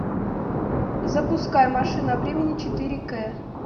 запускай машина времени четыре к